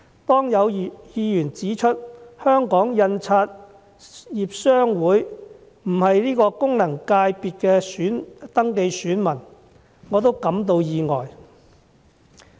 當有議員指出香港印刷業商會不是該功能界別的登記選民，我亦感到意外。